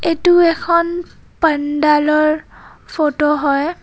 এইটো এখন পাণ্ডালৰ ফটো হয়.